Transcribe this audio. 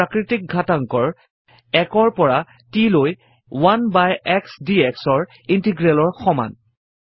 t ৰ প্ৰাকৄতিক ঘাতাংকৰ 1 পৰা t লৈ 1 বাই x dx ৰ ইন্টিগ্ৰেলৰ সমান